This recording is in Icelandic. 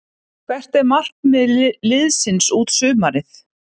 Hvert er markmið liðsins út sumarið?